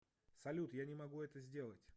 салют я не могу это сделать